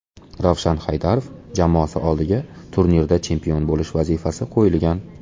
Ravshan Haydarov jamoasi oldiga turnirda chempion bo‘lish vazifasi qo‘yilgan.